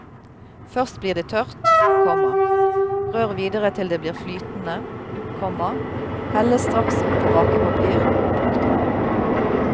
Først blir det tørt, komma rør videre til det blir flytende, komma helles straks opp på bakepapir. punktum